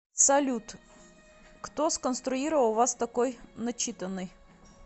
салют кто сконструировал вас такой начитанной